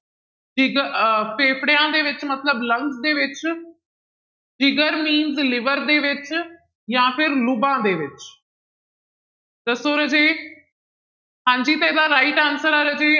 ਅਹ ਫੇਫੜਿਆਂ ਦੇ ਵਿੱਚ ਮਤਲਬ lungs ਦੇ ਵਿੱਚ ਜਿਗਰ means liver ਦੇ ਵਿੱਚ ਜਾਂ ਫਿਰ ਲੁਬਾਂ ਦੇ ਵਿੱਚ ਦੱਸੋ ਰਾਜੇ ਹਾਂਜੀ ਤੇ ਇਹਦਾ right answer ਹੈ ਰਾਜੇ